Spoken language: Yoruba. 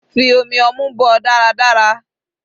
Fi omi ọmú bọ́ ọ dáradára.